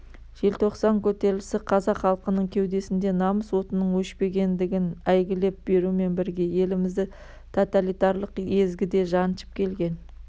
желтоқсан көтерілісі қазақ халқының кеудесінде намыс отының өшпегендігін әйгілеп берумен бірге елімізді тоталитарлық езгіде жаншып келген